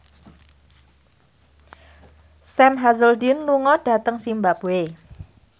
Sam Hazeldine lunga dhateng zimbabwe